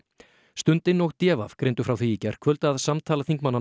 stundin og d v greindu frá því í gærkvöld að samtal þingmannanna